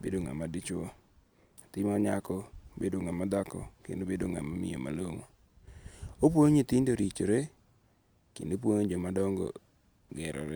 obedo nga'ma dichuo, nyathima nyako bedo nga'ma thako kendo obedo nga'ma miyo malongo' , opuonjo nyithindo ritore kendo opuonjo jomadongo' gerore.